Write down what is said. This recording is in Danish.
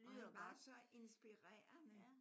Og han var så inspirerende